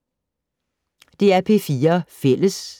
DR P4 Fælles